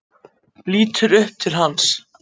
Lítur upp til hans.